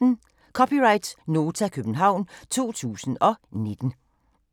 (c) Nota, København 2019